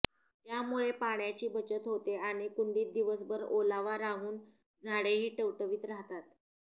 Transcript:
त्यामुळे पाण्याची बचत होते आणि कुंडीत दिवसभर ओलावा राहून झाडेही टवटवीत राहतात